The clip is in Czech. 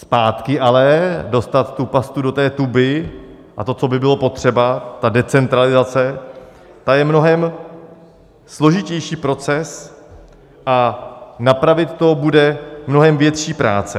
Zpátky alespoň dostat tu pastu do té tuby a to, co by bylo potřeba, ta decentralizace, to je mnohem složitější proces a napravit to bude mnohem větší práce.